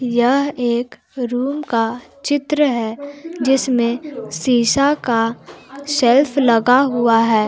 यह एक रूम का चित्र है जिसमें शीशा का सेल्फ लगा हुआ है।